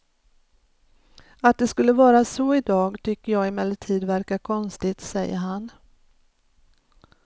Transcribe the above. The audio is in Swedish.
Att det skulle vara så idag tycker jag emellertid verkar konstigt, säger han.